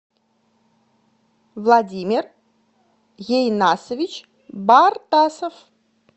владимир ейнасович бартасов